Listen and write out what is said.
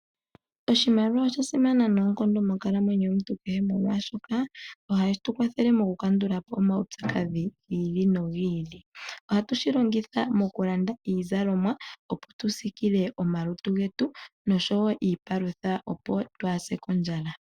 Oshimaliwa osha simana noonkondo monkalamwenyo yomuntu kehe, molwashoka ohashi tu kwathele mo ku kandula po omaupyakadhi gi ili nogi ili. Ohatu shi longitha moku landa iizalomwa opo tu siikile omalutu getu, nosho wo iipalutha opo twaase kondjala.